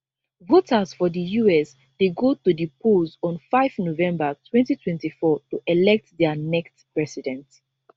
voters for di us dey go to di polls on 5 november 2024 to elect dia next president